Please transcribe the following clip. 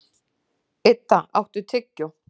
Idda, áttu tyggjó?